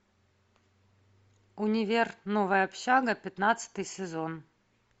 универ новая общага пятнадцатый сезон